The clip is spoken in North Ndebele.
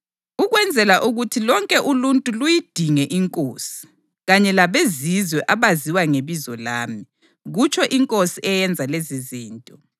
ukwenzela ukuthi lonke uluntu luyidinge iNkosi, kanye labeZizwe abaziwa ngebizo lami, kutsho iNkosi eyenza lezizinto’ + 15.17 U-Amosi 9.11-12: